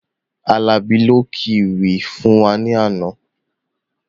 Alabi ló kí ewì fún wá ní àna